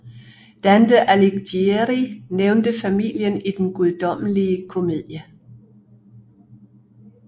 Dante Alighieri nævnte familien i Den Guddommelige Komedie